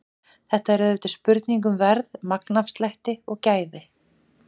Þetta er auðvitað spurning um verð, magnafslætti og gæði.